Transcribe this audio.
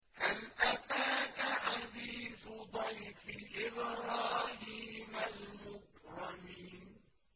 هَلْ أَتَاكَ حَدِيثُ ضَيْفِ إِبْرَاهِيمَ الْمُكْرَمِينَ